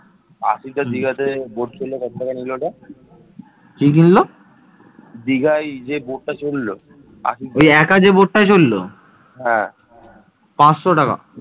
আবিষ্কারগুলো প্রমাণ করে যে, অঞ্চলটি ছিল একটি গুরুত্বপূর্ণ প্রশাসনিক কেন্দ্র যেখানে লোহা গলানো এবং মূল্যবান পাথরের পুঁতির মতো শিল্প ছিল